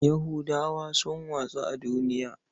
Yahudawa sun watsu a duniya.